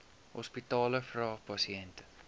hospitale vra pasiënte